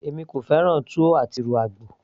èmi kò fẹ́ràn túwó àti ìrù àgbò